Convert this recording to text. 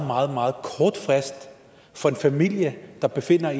meget meget kort frist for en familie der befinder